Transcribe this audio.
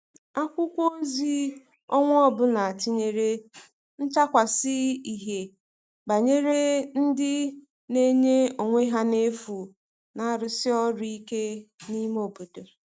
akwụkwo ozi onwa ọbụla tinyere nchakwasi ihie gbanyere ndi n'enye onwe ha n'efu n'arusi ọru ike ime obodo